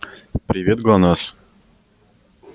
привет глонассс